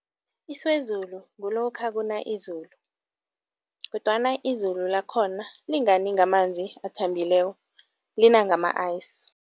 Isiwezulu kulokha kuna izulu kodwana izulu lakhona lingani ngamanzi athambileko, lina ngama-ice.